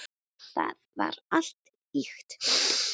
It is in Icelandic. Það var allt ýkt.